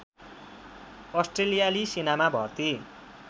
अस्ट्रेलियाली सेनामा भर्ती